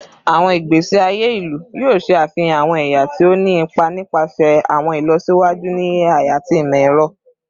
Awọn igbesi aye ilu yoo ṣe afihan awọn ẹya ti o ni ipa nipasẹ awọn ilọsiwaju ni AI ati imọ-ẹrọ